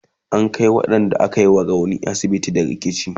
an Kai waƴanda aka wa rauni asibiti da rikici